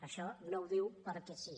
això no ho diu perquè sí